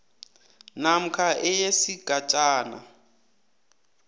namkha e yesigatjana